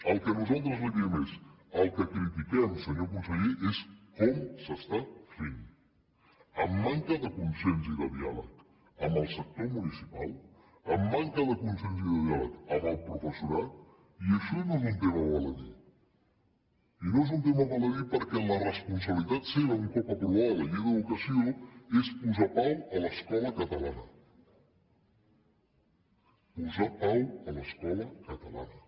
el que nosaltres li diem el que critiquem senyor conseller és com s’està fent amb manca de consens i de diàleg amb el sector municipal amb manca de consens i diàleg amb el professorat i això no és un tema intranscendent i no és un tema intranscendent perquè la responsabilitat seva un cop aprovada la llei d’educació és posar pau a l’escola catalana posar pau a l’escola catalana